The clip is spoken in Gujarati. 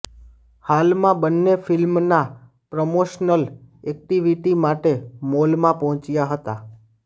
હાલમાં બંને ફિલ્મના પ્રમોશનલ એક્ટિવીટી માટે મોલમાં પહોંચ્યા હતા